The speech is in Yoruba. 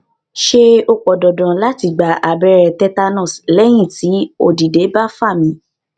ṣé ó pọn dandan lati gba abẹrẹ tetanus lẹyin ti odidẹ ba fa mi